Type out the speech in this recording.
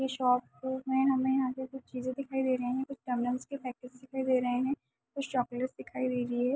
ये शॉप को में हमे यहाँ पे कुछ चीजें दिखाई दे रहे है कुछ कंडोम पैकेज दिखाई दे रहे हैं कुछ चॉकलेट दिखाई दे रही है।